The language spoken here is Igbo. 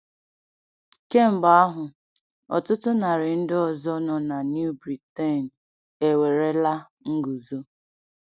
Kemgbe ahụ, ọtụtụ narị ndị ọzọ nọ na New Britain ewerela nguzo.